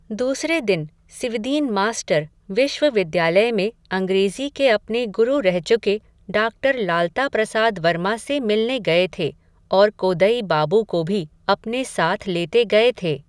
दूसरे दिन, सिवदीन मास्टर, विश्वविद्यालय में, अंग्रेज़ी के अपने गुरु रह चुके, डाक्टर लालता प्रसाद वर्मा से मिलने गये थे, और कोदई बाबू को भी अपने साथ लेते गये थे